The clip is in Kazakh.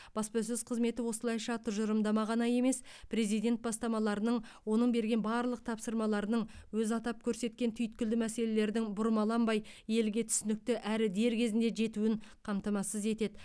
баспасөз қызметі осылайша тұжырымдама ғана емес президент бастамаларының оның берген барлық тапсырмаларының өзі атап көрсеткен түйткілді мәселелердің бұрмаланбай елге түсінікті әрі дер кезінде жетуін қамтамасыз етеді